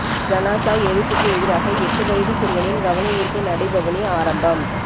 ஜனாஸா எரிப்புக்கு எதிராக எட்டு வயது சிறுவனின் கவனயீர்ப்பு நடைபவனி ஆரம்பம்